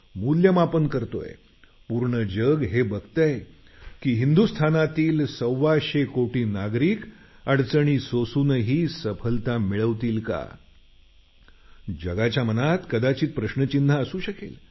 मुल्यमापन करतोय पूर्ण जग हे बघतंय की हिंदुस्तानातील सव्वाशे कोटी नागरिक अडचणी सोसूनही सफलता मिळवतील का जगाच्या मनात कदाचित प्रश्नचिन्ह असू शकेल